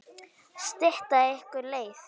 Stytta ykkur leið!